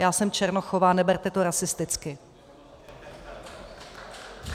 Já jsem Černochová, neberte to rasisticky.